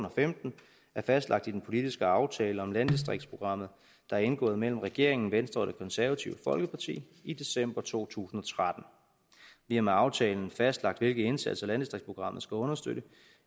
og femten er fastlagt i den politiske aftale om landdistriktsprogrammet der er indgået mellem regeringen venstre og det konservative folkeparti i december to tusind og tretten vi har med aftalen fastlagt hvilke indsatser landdistriktsprogrammet skal understøtte